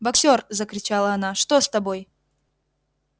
боксёр закричала она что с тобой